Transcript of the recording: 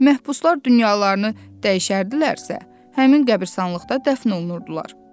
Məhbuslar dünyalarını dəyişərdilərsə, həmin qəbristanlıqda dəfn olunurdular.